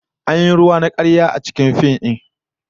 An yi ruwa na karya a cikin fim din